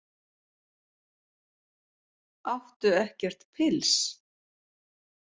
Áttu ekkert pils?